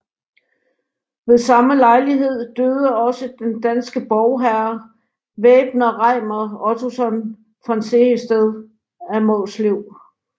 Ved samme lejlighed døde også den danske borgherre væbner Reimer Ottossohn von Sehestedt af Måslev